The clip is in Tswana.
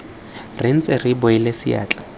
re ntse re beile seatla